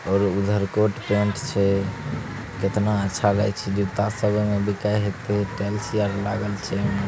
और उधर coat - pant छे | कितना अच्छा लगए छे जुत्ता सबे में बिके होते टाइल्स आर लागल छै|